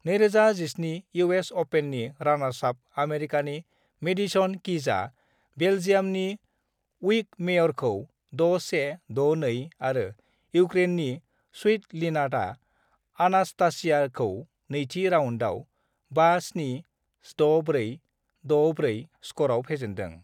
2017 US अपेननि रानार्सआप आमेरिकानि मेडिसन किजआ बेल्जियामनि उइकमेयरखौ 6-1, 6-2 आरो इउक्रेननि स्वितलिनाआ अनास्तासियाखौ नैथि राउन्डआव 5-7, 6-4, 6-4 स्करआव फेजेन्दों।